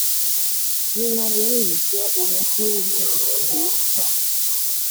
aṣà nàìjíríà: níná owó yìí jẹ́ ohun tí ó wúni gbàgbé. um